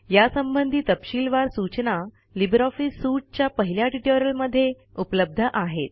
यासंबंधी तपशीलवार सूचना लिब्रे ऑफिस सूट च्या पहिल्या ट्युटोरियलमध्ये उपलब्ध आहेत